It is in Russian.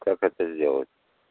как это сделать